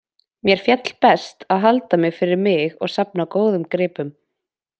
Mér féll best að halda mig fyrir mig og safna góðum gripum.